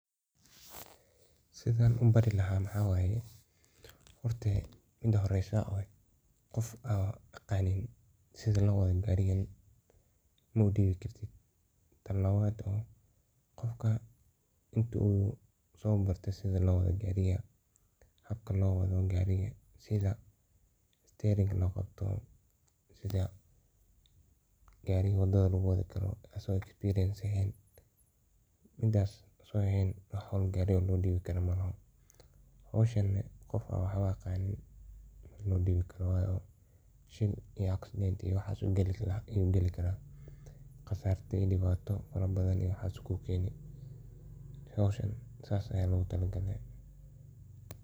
Sidan u bari lahay maxa waye, mida horeso qof an gariga aqanin horta u ma dibesid ,tan labaad qofka waa inu barto habka loo wado gariga ,asagon experience lehen loma dibi karo. Howshan qof an waxbo aqon loma dibi karo ,wayo shil ama accident ayu gali kara, qasarto iney imato iyo waxas buu kukeni. Howshan sas ayaa logu tale garo.